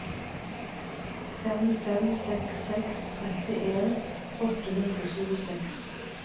fem fem seks seks trettien åtte hundre og tjueseks